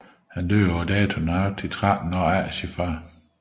Han døde på dato nøjagtigt 13 år efter faderen